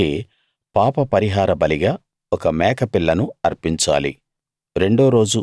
అలాగే పాపపరిహార బలిగా ఒక మేక పిల్లను అర్పించాలి